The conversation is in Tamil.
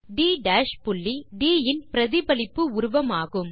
ட் புள்ளி ட் இன் பிரதிபலிப்பு உருவம் ஆகும்